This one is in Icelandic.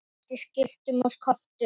ratað eftir skiltum og kortum